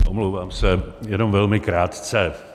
Omlouvám se, jenom velmi krátce.